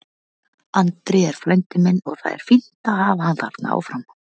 Andri er frændi minn og það er fínt að hafa hann þarna áfram.